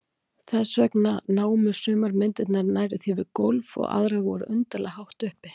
Þess vegna námu sumar myndirnar nærri því við gólf og aðrar voru undarlega hátt uppi.